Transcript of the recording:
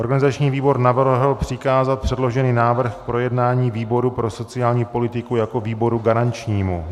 Organizační výbor navrhl přikázat předložený návrh k projednání výboru pro sociální politiku jako výboru garančnímu.